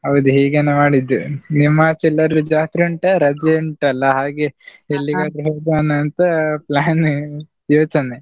ಹೌದು ಹೀಗೆನೆ ಮಾಡಿದ್ದು, ನಿಮ್ಮ ಆಚೆ ಎಲ್ಲಾದ್ರೂ ಜಾತ್ರೆ ಉಂಟ, ರಜೆ ಉಂಟಲ್ಲ ಹಾಗೆ ಹೋಗ್ವನಂತ plan ಯೋಚನೆ.